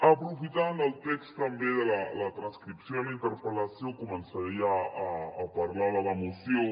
aprofitant el text també la transcripció de la interpel·lació començaria a parlar de la moció